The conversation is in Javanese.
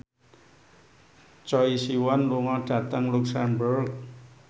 Choi Siwon lunga dhateng luxemburg